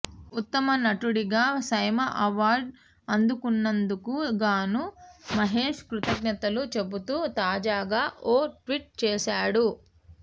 ఉత్తమ నటుడిగా SIIMA award అందుకున్నందుకు గాను మహేష్ కృతజ్ఞతలు చెబుతూ తాజాగా ఓ ట్విట్ చేశాడు